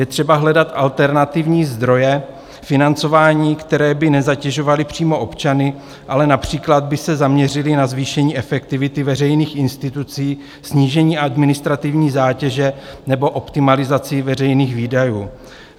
Je třeba hledat alternativní zdroje financování, které by nezatěžovaly přímo občany, ale například by se zaměřily na zvýšení efektivity veřejných institucí, snížení administrativní zátěže nebo optimalizaci veřejných výdajů.